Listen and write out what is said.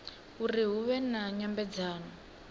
uri hu vhe na nyambedzano